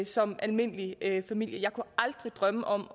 som almindelig familie jeg kunne aldrig drømme om